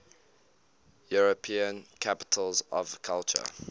european capitals of culture